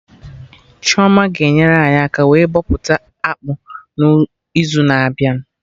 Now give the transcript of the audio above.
Chioma ga-enyere anyị aka wee bọpụta akpụ n'izu na-abịa